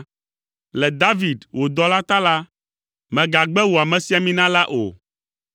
Le David, wò dɔla ta la, mègagbe wò amesiamina la o.